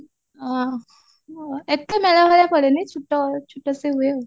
ଆଁ ଏତେ ମେଳା ଭଳିଆ ପଡେନି ଛୋଟ ଛୋଟସେ ହୁଏ ଆଉ